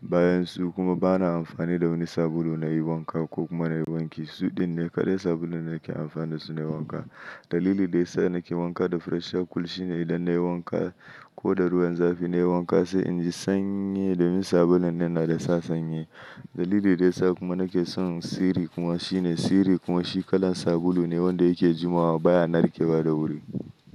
Bayan su kuma ba na amfani da wani sabulu na yi wanka ko kuma na yi wanki. Su ɗin ne kaɗai sabulun da nake amfani da su na wanka. Dalili da ya sa nake wanka da Fresher Cool shine idan na yi wanka ko da ruwan zafi na yi wanka sai inji sanye da min sabulun nan na da sa sanye. Dalili da ya sa kuma nake son Siri kuma shine Siri kuma shi kalar sabulu ne wanda yake jima wa baya narkewa da wuri.